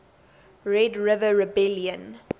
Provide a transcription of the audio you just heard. red river rebellion